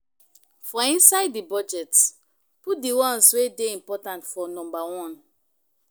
For inside di budget, put di ones wey dey important for number one